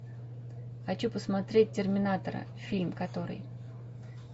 хочу посмотреть терминатора фильм который